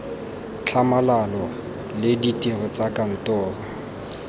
tlhamalalo le ditiro tsa kantoro